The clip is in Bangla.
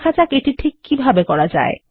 দেখা যাক এটি ঠিক কিভাবে করা যায়